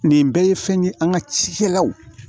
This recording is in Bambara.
Nin bɛɛ ye fɛn ye an ka cikɛlaw